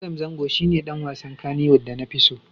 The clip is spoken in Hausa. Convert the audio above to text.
Adam Zango shi ne ɗan wasan Kannywood da na fi so.